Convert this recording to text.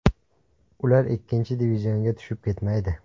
Ular ikkinchi divizionga tushib ketmaydi.